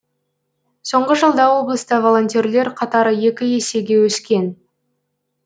соңғы жылда облыста волонтерлер қатары екі есеге өскен